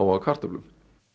af kartöflum